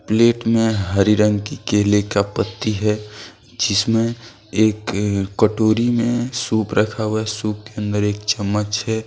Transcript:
Plate में हरे रंग की केले का पत्ती हैं जिसमें एक कटोरी में सूप रखा हुआ हैं सूप के अन्दर एक चम्मच हैं।